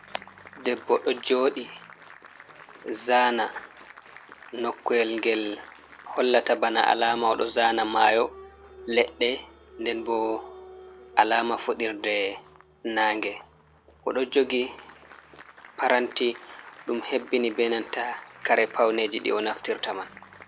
Debbo ɗo jodi zana noku'el ngel hollata bana alama oɗo zana mayo, ledde, nden bo alama fuɗirde na nge, oɗo jogi paranti ɗum hebbini benanta kare pawneji di onaftirta man.